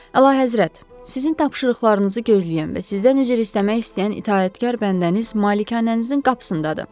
Əlahəzrət, sizin tapşırıqlarınızı gözləyən və sizdən üzr istəmək istəyən itaətkar bəndəniz malikanənizin qapısındadır.